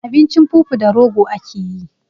Abincin fufu da rogo akeyi